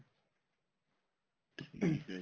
ਠੀਕ ਆ ਜੀ